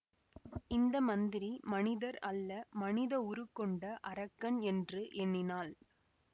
இந்த மந்திரி மனிதர் அல்ல மனித உருக்கொண்ட அரக்கன் என்று எண்ணினாள்